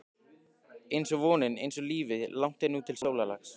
einsog vonin, einsog lífið- langt er nú til sólarlags.